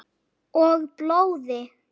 Og blóði.